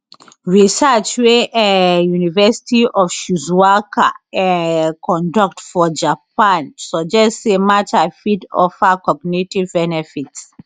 research wey um university of shizuoka um conduct for japan suggest say matcha fit offer cognitive benefits